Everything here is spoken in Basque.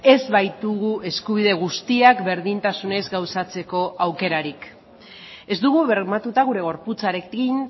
ez baitugu eskubide guztiak berdintasunez gauzatzeko aukerarik ez dugu bermatuta gure gorputzarekin